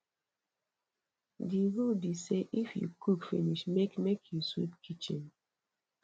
di rule be sey if you cook finish make make you sweep kitchen